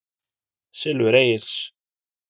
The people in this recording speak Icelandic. Silfur Egils.